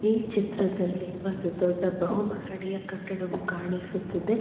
ಈ ಚಿತ್ರದಲ್ಲಿ ಒಂದು ದೊಡ್ಡ ಬಹು ಮಹಡಿಯ ಕಟ್ಟಡವು ಕಾಣಿಸುತ್ತಿದೆ.